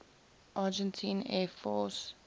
argentine air force